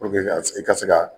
ka s e ka se ka